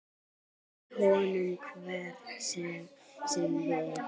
Lái honum hver sem vill.